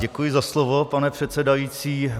Děkuji za slovo, pane předsedající.